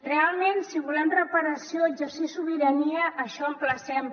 realment si volem reparació exercir sobirania emplacem